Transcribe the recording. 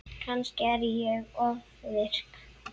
Kannski er ég ofvirk.